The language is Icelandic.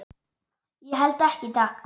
Ég held ekki, takk.